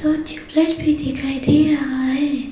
अ tubelight भी दिखाई दे रहा है।